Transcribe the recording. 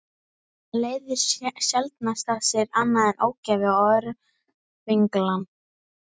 Það leiðir sjaldnast af sér annað en ógæfu og örvinglan.